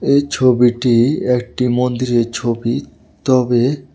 এই ছবিটি একটি মন্দিরের ছবি তবে--